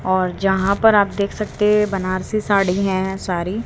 और जहां पर आप देख सकते बनारसी साड़ी हैं सारी।